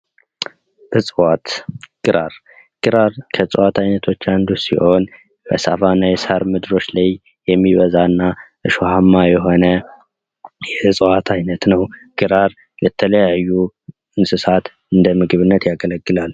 እጽዋት፤ ግራር፦ ግራር እጽዋት አይነቶች አንዱ ሲሆን በሳቫና የሳር ምድሮች ላይ የሚበዛና እሾሃማ የሆነ የእጽዋት አይነት ነው። ግራር ለተለያዩ እንስሳት እንደ ምግብ ያገለግላል።